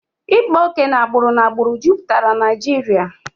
Ịkpa oke na agbụrụ n'agbụrụ jupụtara Naijiria